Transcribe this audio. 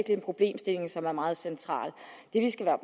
en problemstilling som er meget central det vi skal være